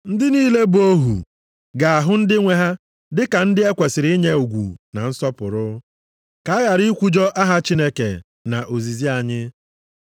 Ndị niile bụ ohu ga-ahụ ndị nwe ha dị ka ndị ekwesiri inye ugwu na nsọpụrụ, ka a ghara ikwujọ aha Chineke na ozizi anyị.